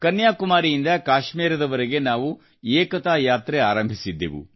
ಕನ್ಯಾಕುಮಾರಿಯಿಂದ ಕಾಶ್ಮೀರದ ವರೆಗೆ ನಾವು ಏಕತಾ ಯಾತ್ರೆ ಆರಂಭಿಸಿದ್ದೆವು